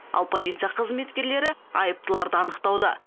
ал полиция қызметкерлері айыптыларды анықтауда